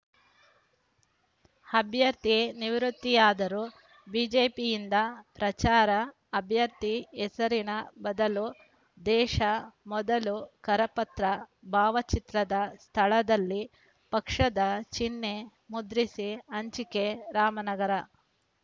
ಅಭ್ಯರ್ಥಿ ನಿವೃತ್ತಿಯಾದರೂ ಬಿಜೆಪಿಯಿಂದ ಪ್ರಚಾರ ಅಭ್ಯರ್ಥಿ ಹೆಸರಿನ ಬದಲು ದೇಶ ಮೊದಲು ಕರಪತ್ರ ಭಾವಚಿತ್ರದ ಸ್ಥಳದಲ್ಲಿ ಪಕ್ಷದ ಚಿಹ್ನೆ ಮುದ್ರಿಸಿ ಹಂಚಿಕೆ ರಾಮನಗರ